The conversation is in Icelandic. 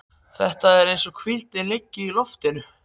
Það er eins og hvíldin liggi í loftinu.